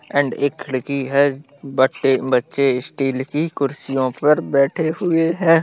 And एक खिड़की है बड़े बच्चे स्टील की कुर्सियों पर बैठे हुए है।